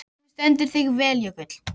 Þú stendur þig vel, Jökull!